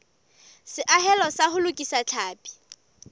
seahelo sa ho lokisa tlhapi